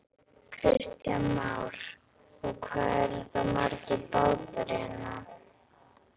Kristján Már: Og hvað eru þá margir bátar hérna?